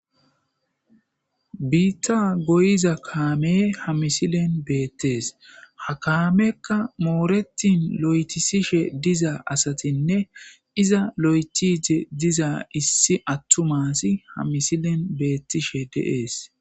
biitta goyiza kaame ha misilen beettees ha kaamekka mooretin lo7etisishe diza asatinne iza lo7etize diza issi attumasi ha misilen beettishe deees